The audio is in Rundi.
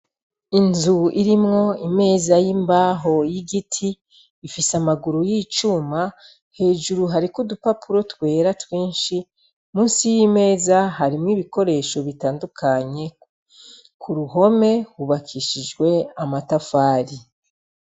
Inzu irimwo imeza y'imbaho y'igiti, ifis' amaguru y'icuma ,hejuru hariko udupapuro twera twinshi, munsi y'imeza harimwo ibikoresho bitandukanye, ku ruhome hubakishijwe amatafari.